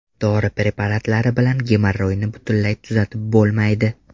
Dori preparatlari bilan gemorroyni butunlay tuzatib bo‘lmaydi.